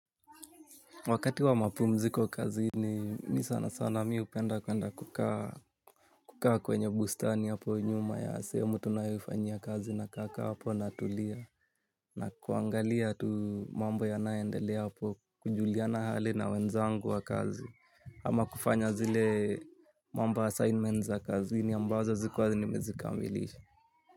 Wakati wa mapumziko kazini ni sana sana mi upenda kuenda kukaa kukaa kwenye bustani apo nyuma ya seemu tunayoifanyia naka kaa apo natulia nakuangalia tu mambo yanaendelea na kujuliana hali na wenzangu ama kufanya zile mambo assignment za kazini ambazo zikuwa nimezikamilisha.